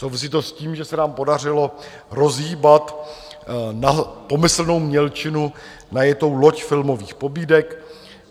Souvisí to s tím, že se nám podařilo rozhýbat na pomyslnou mělčinu najetou loď filmových pobídek.